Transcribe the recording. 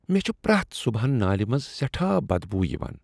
مےٚ چھ پرٛٮ۪تھ صبحن نالِہ منٛز سیٹھاہ بد بو یوان۔